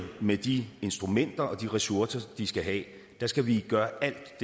med de instrumenter og ressourcer de skal have skal vi gøre alt